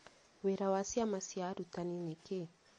Wĩra wa ciama cia arutani nĩ kĩĩ?